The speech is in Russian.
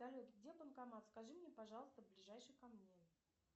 салют где банкомат скажи мне пожалуйста ближайший ко мне